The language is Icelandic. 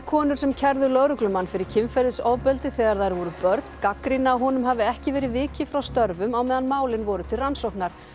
konur sem kærðu lögreglumann fyrir kynferðisofbeldi þegar þær voru börn gagnrýna að honum hafi ekki verið vikið frá störfum á meðan málin voru til rannsóknar